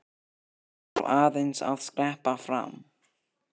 Ég þarf aðeins að skreppa fram.